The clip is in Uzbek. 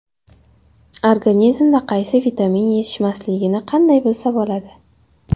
Organizmga qaysi vitamin yetishmasligini qanday bilsa bo‘ladi?.